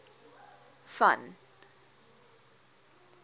van